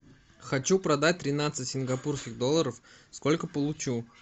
хочу продать тринадцать сингапурских долларов сколько получу